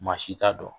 Maa si t'a dɔn